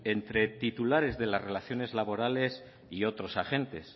entre titulares de las relaciones laborales y otros agentes